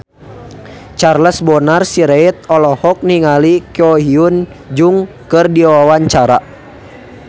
Charles Bonar Sirait olohok ningali Ko Hyun Jung keur diwawancara